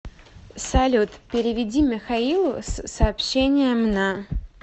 салют переведи михаилу с сообщением на